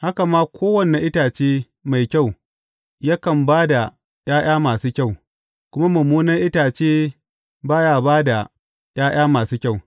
Haka ma kowane itace mai kyau yakan ba da ’ya’ya masu kyau, kuma mummunan itace ba ya ba da ’ya’ya masu kyau.